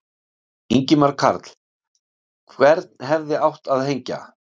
Ingimar Karl: Hvern hefði átt að hengja?